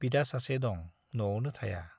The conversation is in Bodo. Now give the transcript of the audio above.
बिदा सासे दं नआवनो थाया।